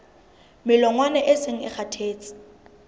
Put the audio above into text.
melongwana e seng e kgathetse